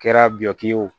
Kɛra butiki ye o